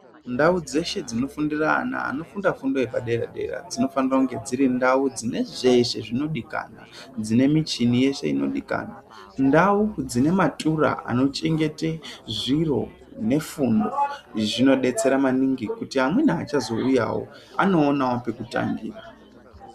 Ndawo dzese dzinofundira na ana efundo yepadera dera ,dzinofana kuva dziri ndawo dzine zvese zvinodikanwa. Dzinemichini yese inodikanwa ,ndau dzinematura anochengete zviro nefundo zvinodetsera maningi kuti amuna achazowuyawo anowane pekutangira.